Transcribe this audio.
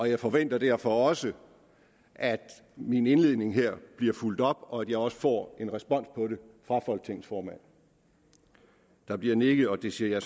jeg forventer derfor også at min indledning her bliver fulgt op og at jeg også får en respons på det fra folketingets formand der bliver nikket og det siger